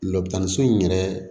Lɔbukan so in yɛrɛ